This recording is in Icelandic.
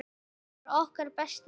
Hann var okkar besti maður.